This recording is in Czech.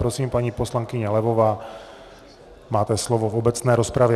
Prosím, paní poslankyně Levová, máte slovo v obecné rozpravě.